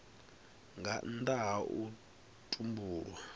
nga nnda ha u tumbulwa